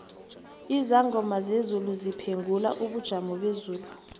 izangoma zezulu ziphengula ubujomobezulu